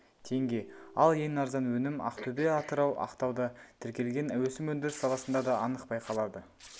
теңге ал ең арзан өнім ақтөбе атырау ақтауда тіркелген өсім өндіріс саласында да анық байқалады